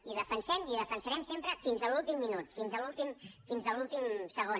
i ho defensem i ho defensarem sempre fins a l’últim minut fins a l’últim segon